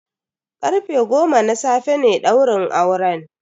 Karfe goma na safe ne daurin auren.